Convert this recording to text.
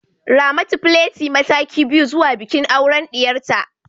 Ramatu plaite mataki biyu zuwa bikin auren diyarta